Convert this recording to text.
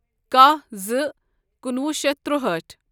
کاہ زٕ کُنوُہ شیتھ تُرٛہأٹھ